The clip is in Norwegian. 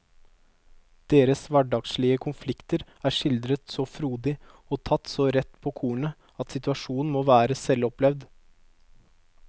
Deres hverdagslige konflikter er skildret så frodig og tatt så rett på kornet at situasjonene må være selvopplevd.